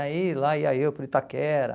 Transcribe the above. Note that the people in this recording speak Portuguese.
Aí lá ia eu para o Itaquera.